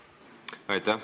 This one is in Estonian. Aitäh!